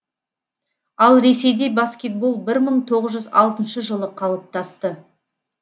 ал ресейде баскетбол бір мың тоғыз жүз алтыншы жылы қалыптасты